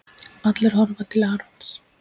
Allir horfa til Arons.